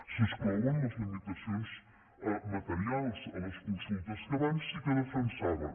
se n’exclouen les limitacions materials a les consultes que abans sí que defensaven